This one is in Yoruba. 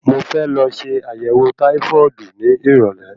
Mo fẹ́ lọ se àyẹ̀wọ̀ táífọ́ọ̀dù ní ìrọ̀lé.